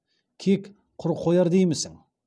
кек құр қояр деймісің